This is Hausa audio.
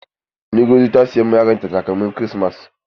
Ngozi za ta siy ma yaron ta takalmin kirismas.